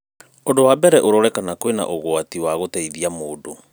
ũndũ wa mbere ũrore kana kwĩna ũgwati wa gũteithia mũndũ